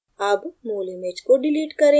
अब मूल image को डिलीट करें